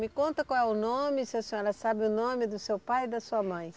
Me conta qual é o nome, se a senhora sabe o nome do seu pai e da sua mãe.